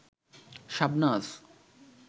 Shabnaz